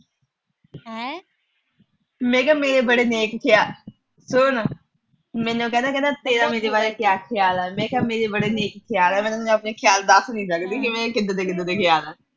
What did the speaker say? ਮੈਂ ਕਿਹਾ ਮੇਰੇ ਬੜੇ ਨੇਕ ਵਿਚਾਰ ਏ। ਸੁਣ। ਮੈਨੂੰ ਕਹਿੰਦਾ ਤੇਰਾ ਮੇਰੇ ਬਾਰੇ ਕਿਆ ਖਿਆਲ ਐ। ਮੈਂ ਕਿਹਾ ਮੇਰੇ ਬੜੇ ਨੇਕ ਵਿਚਾਰ ਏ। ਮੈਂ ਤੈਨੂੰ ਆਪਣੇ ਖਿਆਲ ਦੱਸ ਨੀ ਸਕਦੀ, ਕਿਦਾਂ ਦੇ ਅਹ ਕਿਦਾਂ ਦੇ ਖਿਆਲ ਆ।